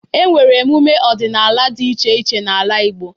E nwere emume ọdịnala dị iche iche n'ala Igbo.